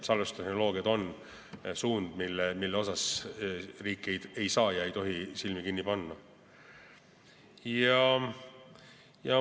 Salvestustehnoloogiad on suund, mille ees riik ei tohi silmi kinni panna.